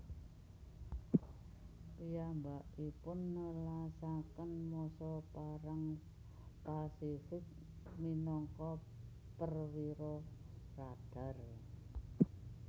Piyambakipun nelasaken masa Perang Pasifik minangka perwira radar